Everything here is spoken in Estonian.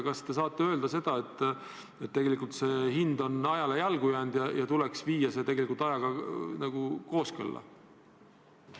Kas te saate öelda, et tegelikult on maa hind ajale jalgu jäänud ja tuleks viia ajaga kooskõlla?